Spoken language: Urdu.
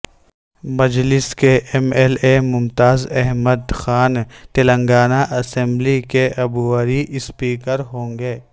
مجلس کے M L A Mumtaz Ahmed Khan Telangana assembly کے عبوری اسپیکر ہونگے